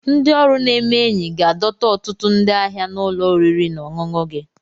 Ndị ọrụ na-eme enyi ga-adọta ọtụtụ ndị ahịa na ụlọ oriri na ọṅụṅụ gị